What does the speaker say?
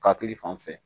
Hakili fan fɛ